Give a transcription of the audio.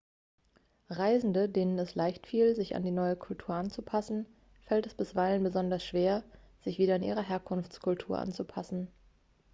reisenden denen es leichtfiel sich an die neue kultur anzupassen fällt es bisweilen besonders schwer sich wieder an ihre herkunftskultur anzupassen